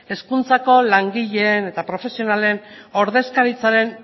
hezkuntzako langileen eta profesionalen ordezkaritzaren